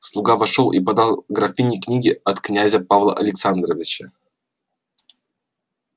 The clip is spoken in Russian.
слуга вошёл и подал графине книги от князя павла александровича